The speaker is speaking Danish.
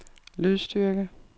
lydstyrke